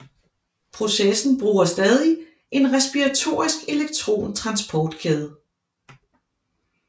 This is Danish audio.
Processen bruger stadig en respiratorisk elektron transportkæde